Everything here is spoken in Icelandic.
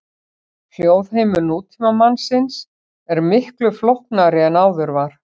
Hljóðheimur nútímamannsins er miklu flóknari en áður var.